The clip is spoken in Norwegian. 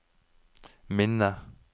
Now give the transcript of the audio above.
minne